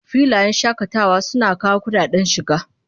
Filayen shakatawa suna kawo kudaden shiga